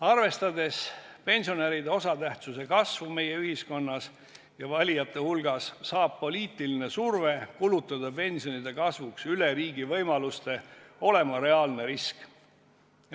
Arvestades pensionäride osatähtsuse kasvu meie ühiskonnas ja valijate hulgas, saab poliitiline surve kulutada pensionide kasvuks üle riigi võimaluste olema reaalne risk.